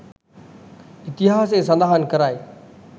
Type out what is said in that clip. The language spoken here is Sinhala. ඉතිහාසය සඳහන් කරයි.